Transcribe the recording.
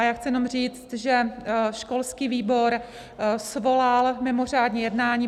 A já chci jenom říct, že školský výbor svolal mimořádné jednání.